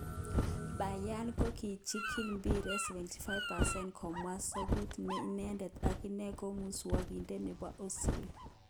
Bayern kokichikil mbiret 74%,kamwa Sogut ne inedet akine ko muswogindet nebo Ozil.